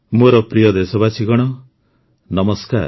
ମୋର ପ୍ରିୟ ଦେଶବାସୀଗଣ ନମସ୍କାର